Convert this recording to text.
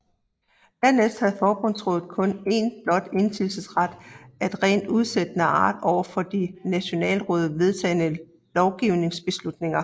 Dernæst havde forbundsrådet kun en blot indsigelsesret af rent udsættende art over for de af nationalrådet vedtagne lovgivningsbeslutninger